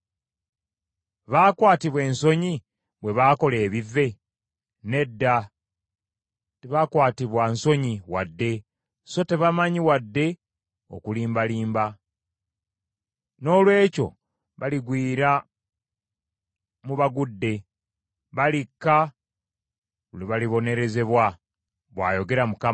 Baakwatibwa ensonyi bwe baakola ebivve? Nedda tebakwatibwa nsonyi wadde, so tebamanyi wadde okulimbalimba. Noolwekyo baligwira mu bagudde, balikka lwe balibonerezebwa,” bw’ayogera Mukama .